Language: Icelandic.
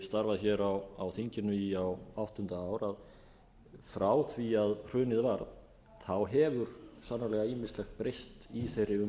starfað á þinginu á áttunda ár að frá því að hrunið varð hefur sannarlega ýmislegt breyst í þeirri